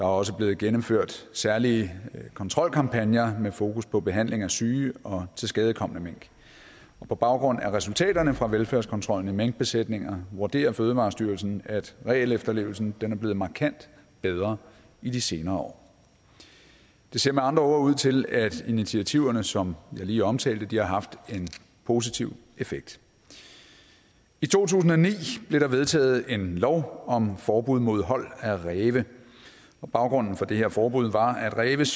også blevet gennemført særlige kontrolkampagner med fokus på behandling af syge og tilskadekomne mink og på baggrund af resultaterne fra velfærdskontrollen i minkbesætninger vurderer fødevarestyrelsen at regelefterlevelsen er blevet markant bedre i de senere år det ser med andre ord ud til at initiativerne som jeg lige omtalte har haft en positiv effekt i to tusind og ni blev der vedtaget en lov om forbud mod hold af ræve og baggrunden for det her forbud var at ræve